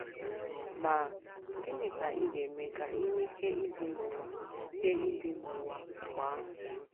Ma, gịnị ka ị ga - eme ka i nwee ike ibi n’ụwa ike ibi n’ụwa mgbe ahụ?